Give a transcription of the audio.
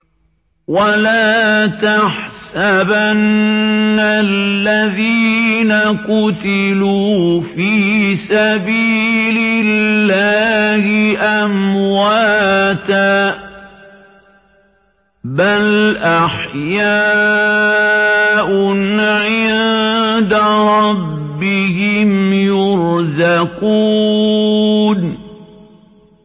وَلَا تَحْسَبَنَّ الَّذِينَ قُتِلُوا فِي سَبِيلِ اللَّهِ أَمْوَاتًا ۚ بَلْ أَحْيَاءٌ عِندَ رَبِّهِمْ يُرْزَقُونَ